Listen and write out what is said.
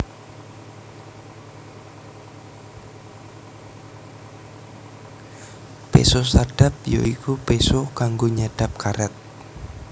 Péso sadap ya iku péso kanggo nyadhap karét